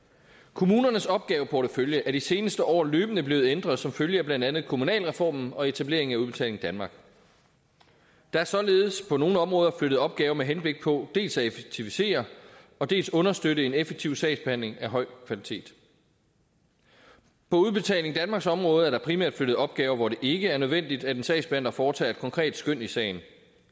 kommunernes opgaveportefølje er i de seneste år løbende blevet ændret som følge af blandt andet kommunalreformen og etableringen af udbetaling danmark der er således på nogle områder flyttet opgaver med henblik på dels at effektivisere dels at understøtte en effektiv sagsbehandling af høj kvalitet på udbetaling danmarks område er der primært flyttet opgaver hvor det ikke er nødvendigt at en sagsbehandler foretager et konkret skøn i sagen